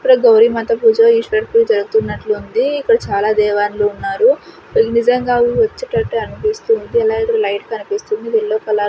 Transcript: ఇప్పుడే గౌరీ మాత పూజ ఈస్వర పూజ జరుగుతున్నట్లుంది ఇక్కడ చాలా దేవాన్ లు ఉన్నారు ఇవి నిజంగా వచ్చేటట్టు అన్పిస్తుంది ఎలా అంటే లైట్ కన్పిస్తుంది యెల్లో కలర్ .